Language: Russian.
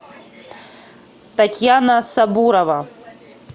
татьяна сабурова